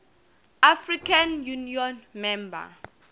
african union member